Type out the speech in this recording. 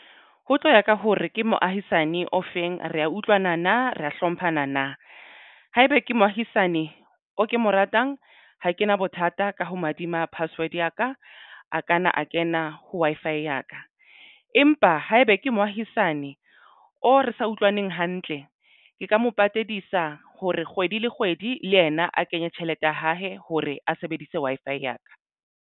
Ho tloya ka hore ke moahisane ofeng re a utlwana na re hlomphana na haeba ke moahisane o ke mo ratang ha kena bothata ka ho mahadima password ya ka a kanna a kena ha Wi-Fi ya ka empa haebe ke moahisane o re sa utlwaneng hantle, ke ka mo patadisa hore kgwedi le kgwedi le ena a kenye tjhelete ya hae hore a sebedise Wi-Fi ya ka.